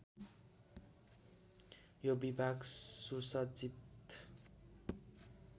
यो विभाग सुसज्जित